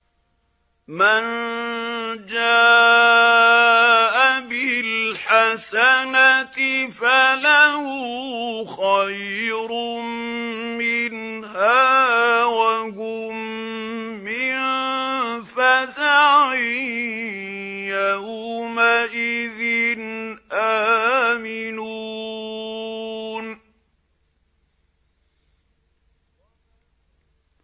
مَن جَاءَ بِالْحَسَنَةِ فَلَهُ خَيْرٌ مِّنْهَا وَهُم مِّن فَزَعٍ يَوْمَئِذٍ آمِنُونَ